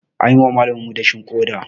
An yi wa malaminmu dashin ƙoda.